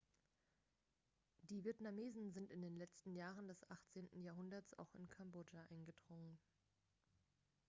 die vietnamesen sind in den letzten jahren des 18. jahrhunderts auch in kambodscha eingedrungen